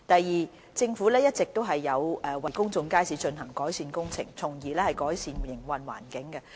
二政府一直都有為公眾街市進行改善工程，從而改善營運環境。